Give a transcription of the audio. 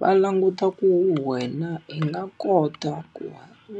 Va languta ku wena u nga kota ku